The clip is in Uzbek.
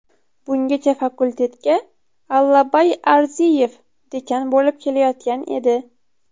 Bungachafakultetga Allabay Arziyev dekan bo‘lib kelayotgan edi.